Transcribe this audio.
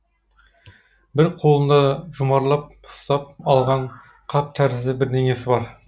бір қолында жұмарлап ұстап алған қап тәрізді бірдеңесі бар